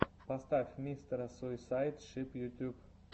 поставь мистера суисайд шип ютюб